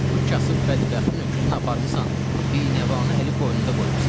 O kasıb bədbəxtin öküzünü aparmısan, binəvanı əli qoynunda qoymusan.